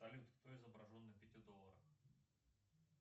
салют кто изображен на пяти долларах